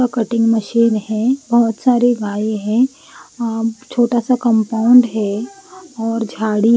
का cutting machine है बहुत सारी गाय है और छोटा सा कंपाउंड है और झाड़ी --